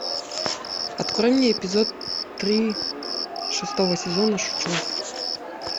открой мне эпизод три шестого сезона шучу